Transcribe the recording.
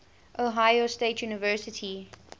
ohio state university